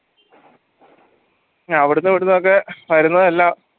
പിന്നെ അവിടുന്നും ഇവിടുന്നും ഒക്കെ വരുന്നതെല്ലാം